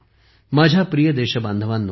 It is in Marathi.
माझ्या प्रिय देशबांधवांनो